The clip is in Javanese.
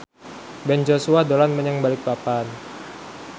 Ben Joshua dolan menyang Balikpapan